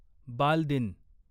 बाल दिन